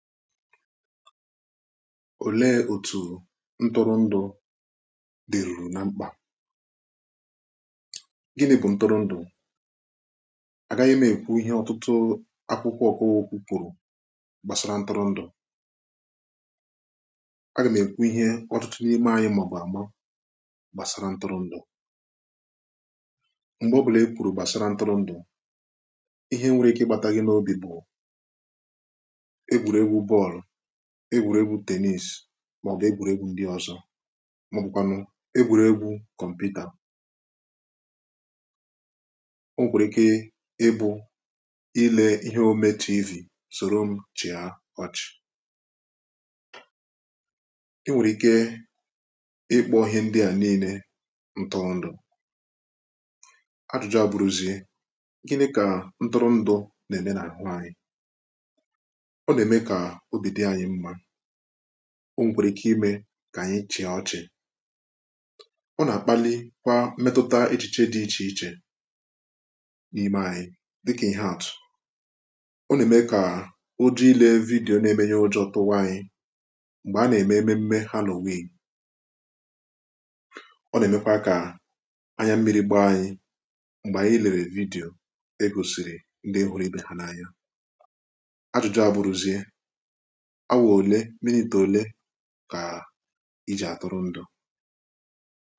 òlee otù ntụrụndụ̀ dìrùrù na mkpà egwùregwu̇ tennis màọbụ̀ egwùregwu̇ ndị ọzọ mà ọ bụ̀kwànụ̀ egwùregwu̇ kọ̀mputa o nwèkwàrà ike ịbụ̇ ilė ihe omė tv sòro m chịa ọchị̀ i nwèrè ike ịkpọ ihe ndị a niile ntụrụndụ̀ ajụ̇jụ̇ abụrụzie gịnị kà ntụrụ ndụ̀ nà-ème n’àhụ anyị o nà-ẹ̀mẹ kà ọ dị ilẹ̀ vidiyo nà ẹbẹ ọjọọ tụtụ ọrụ anyị mẹkwa obì dị anyị mmȧ o nà-ẹ̀mẹ kà o nà-ẹ̀mẹ ndị oyìboì dị anyị mmȧ o nà-ẹ̀mẹ kà o nà-ẹ̀mẹ kà o nà-ẹ̀mẹ ndị oyìboì dị anyị mmȧ o nà-ẹ̀mẹ kà o nà-ẹ̀mẹ kà o nà-ẹ̀mẹ kà o nà-ẹ̀mẹ yȧ anyị ọ bụ̀ nà ị gbànyẹ̀ kà o nà-ẹ̀mẹ yȧ anyị ọ bụ̀ nà ị gbànyẹ̀ kà o nà-ẹ̀mẹ yȧ anyị ọ bụ̀ nà ị gbànyẹ̀ kà o nà-ẹ̀mẹ yȧ anyị ḿmẹ̀kwẹ̀bẹ̀ bẹ̀nyẹ̀ gbànyẹ̀ gbànyẹ̀ gbànyẹ̀ gbànyẹ̀ gbànyẹ̀ gbànyẹ̀ gbànyẹ̀ gbànyẹ̀ gbànyẹ̀ gbànyẹ mẹ̀mẹ yȧ gbànyẹ mẹ̀mẹ yȧ gbànyẹ mẹ̀mẹ yȧ gbànyẹ mẹ̀mẹ gbànyẹ mẹ̀mẹ gbànyẹ mẹ̀ mẹ� ka i ji̇ atụrụndụ